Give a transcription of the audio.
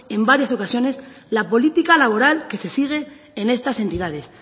en varias ocasiones la política laboral que se sigue en estas entidades